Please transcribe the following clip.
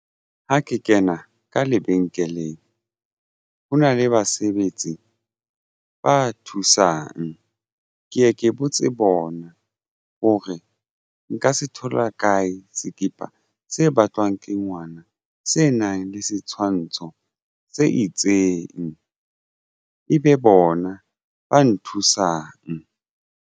Ha ke kena ka lebenkeleng ho na le basebetsi ba thusang ke ye ke botse bona hore nka se thola kae skipa se batlwang ke ngwana se nang le setshwantsho se itseng ebe bona ba nthusang.